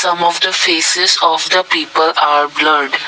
some of the faces of the people are blurred.